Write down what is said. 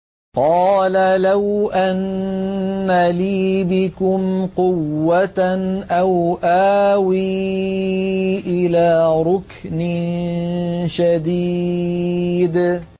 قَالَ لَوْ أَنَّ لِي بِكُمْ قُوَّةً أَوْ آوِي إِلَىٰ رُكْنٍ شَدِيدٍ